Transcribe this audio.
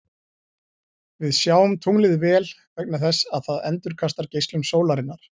Við sjáum tunglið vel vegna þess að það endurkastar geislum sólarinnar.